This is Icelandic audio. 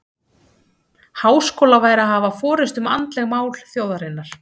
Háskóla væri að hafa forystu um andleg mál þjóðarinnar.